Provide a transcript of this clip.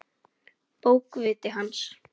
Bókviti hans?